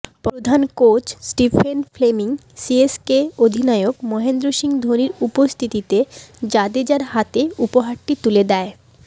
প্রধান coach Stephen Fleming CSK অধিনায়ক মহেন্দ্র সিং ধোনির উপস্থিতিতে জাদেজার হাতে উপহারটি তুলে দেয়